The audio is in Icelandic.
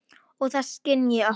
Og það skynji okkur.